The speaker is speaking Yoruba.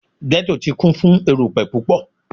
Ghetto ti kun fun erupẹ pupọ